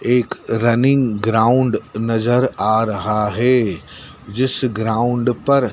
एक running ground नजर आ रहा है जिस ग्राउंड पर--